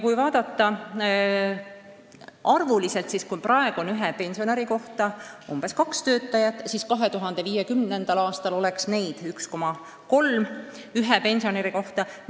Kui vaadata arvuliselt, siis praegu on ühe pensionäri kohta umbes kaks töötajat, 2050. aastal aga oleks neid keskmiselt 1,3 ühe pensionäri kohta.